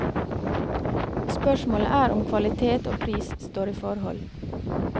Spørsmålet er om kvalitet og pris står i forhold.